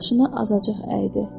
Başını azacıq əydi.